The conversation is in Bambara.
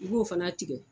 I b'o fana tigɛ